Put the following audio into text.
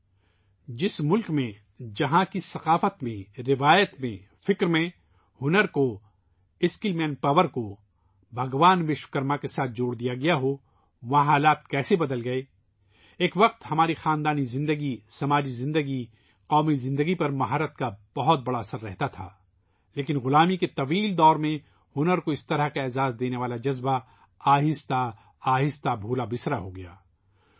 ایک ایسے ملک میں ، جہاں کی تہذیب میں ، روایت میں ، سوچ میں ، ہنر کو ، اسکل مین پاور کو بھگوان وشوکرما کے ساتھ جوڑ دیا گیا ہو ، وہاں صورت حال کیسے بدل گئی ہے ،ایک وقت تھا ، ہماری خاندانی زندگی ، سماجی زندگی ، قومی زندگی پر اہلیت کا بہت بڑا اثر رہتاتھا لیکن غلامی کے لمبے دور میں ہنرکو اس طرح کا احترام دینے والا جذبہ رفتہ رفتہ ختم ہو گیا ہے